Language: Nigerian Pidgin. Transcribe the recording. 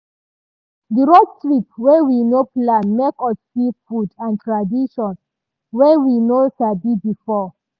di road trip wey we nor plan make us see food and tradition wey we nor sabi before.